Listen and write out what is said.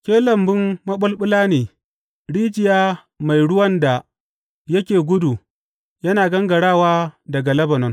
Ke lambun maɓulɓula ne, rijiya mai ruwan da yake gudu yana gangarawa daga Lebanon.